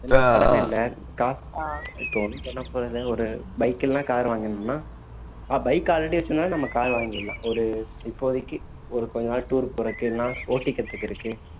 ஏன்னா கடன் இல்லை காசு இப்போ ஒண்ணும் பண்ணப் போறது இல்ல ஒரு bike எல்லாம் car வாங்கினோம்ன்னா bike already வச்சிருந்ததுனால நம்ம car வாங்கிடலாம் ஒரு இப்போதைக்கு ஒரு கொஞ்ச நாள் tour போறக்கு இல்லைன்னா ஓட்டி கத்துகிறதுக்கு